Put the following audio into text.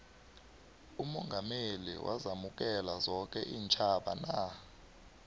umongameli wazamukela zoke iintjhaba na